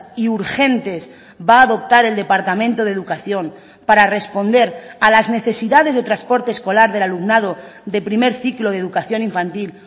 y urgentes va a adoptar el departamento de educación para responder a las necesidades de transporte escolar del alumnado de primer ciclo de educación infantil